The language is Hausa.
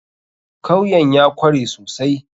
Kawyan ya kware sosai.